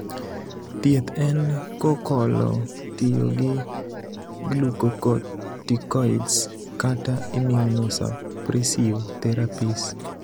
thieth en kokolo tiyo gi glucocorticoids kata immunosuppressive therapies.